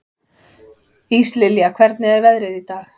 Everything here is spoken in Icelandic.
Íslilja, hvernig er veðrið í dag?